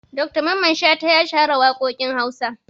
Dr mamman shata ya shahara waƙoƙin Hausa.